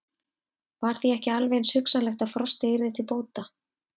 Var því ekki alveg eins hugsanlegt að frostið yrði til bóta?